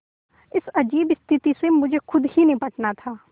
इस अजीब स्थिति से मुझे खुद ही निबटना था